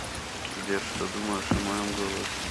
сбер что думаешь о моем голосе